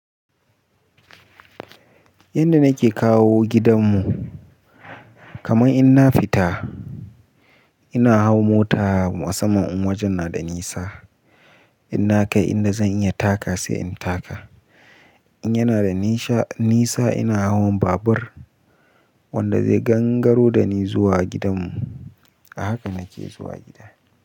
Yanda nake kawo gidanmu kaman in na fita ina hau mota musamman in wajen na da nisa. In na kai inda zan iya taka sai in taka. In yana da nisa ina hawan babur wanda zai gangaro da ni zuwa gidanmu. A haka nake zuwa gida.